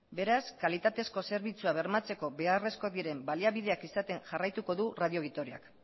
beraz kalitatezko zerbitzua bermatzeko beharrezko diren baliabideak izaten jarraituko du radio vitoriak